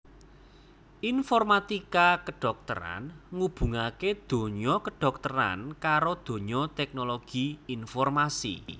Informatika kedhokteran ngubungaké donya kedhokteran karo donya teknologi informasi